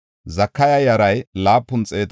Azgada yaray 1,222;